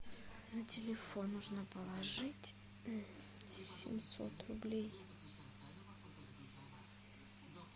на телефон нужно положить семьсот рублей